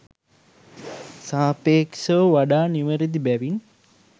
සාපේක්ෂව වඩා නිවැරදි බැවින්